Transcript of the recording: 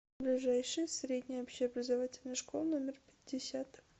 ближайший средняя общеобразовательная школа номер пятьдесят